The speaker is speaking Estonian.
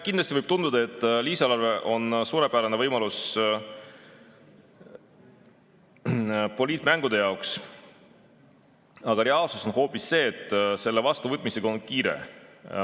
Kindlasti võib tunduda, et lisaeelarve on suurepärane võimalus poliitmängude jaoks, aga reaalsus on hoopis see, et selle vastuvõtmisega on kiire.